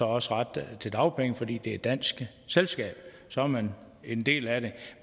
også ret til dagpenge fordi lego et dansk selskab og så er man en del af det